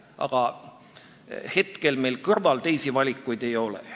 Aga hetkel meil teisi valikuid ei ole.